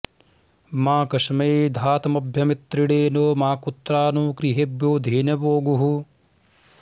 मा कस्मै॑ धातम॒भ्य॑मि॒त्रिणे॑ नो॒ माकुत्रा॑ नो गृ॒हेभ्यो॑ धे॒नवो॑ गुः